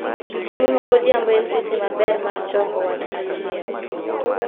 Chiemo magodhiambo en seche maber mar choko wat kaachiel